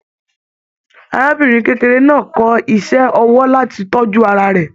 Arábìnrin kékeré náà kọ iṣẹ ọwọ láti tọjú ara rẹ.